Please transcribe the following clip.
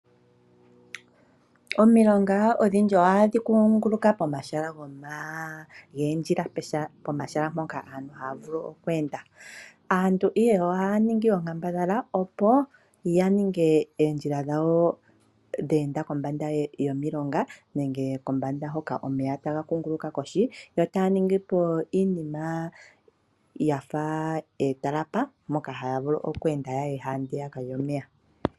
Omilonga odhindji ohadhi kunguluka pomahala goondjila, pomahala mpoka aantu haya vulu okweenda. Aantu ihe ohaya ningi oonkandambala opo ya ninge oondjila dhawo dheenda kombanda dhomiilonga nenge kombanda hoka omeya taga kunguluka kohi, yotaya ningipo iinima mbyoka yafa ootalapa mpoka haya vulu oku enda yaye handiyaka lyomeya.